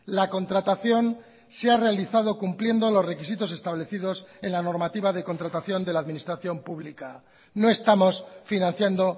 la contratación se ha realizado cumpliendo los requisitos establecidos en la normativa de contratación de la administración pública no estamos financiando